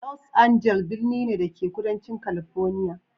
Los Angeles birni ne, da ke kudancin California.